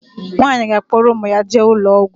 Nwaanyi ga akporo umu ya jee ulo ogwu